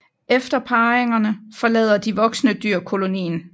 Efter parringerne forlader de voksne dyr kolonien